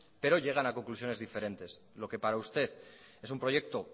pero llegan a conclusiones diferentes lo que para usted es un proyecto